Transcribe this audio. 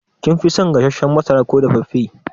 Kin fi son gasashen masara ko dafaffe?